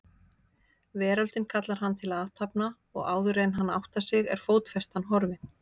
Veröldin kallar hann til athafna og áðuren hann áttar sig er fótfestan horfin.